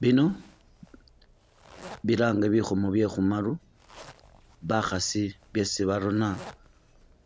Bino bilange bikhomo bye khumaru bakhasi byesi barona